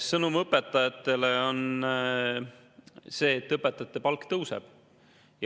Sõnum õpetajatele on see, et õpetajate palk tõuseb.